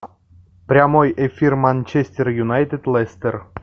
прямой эфир манчестер юнайтед лестер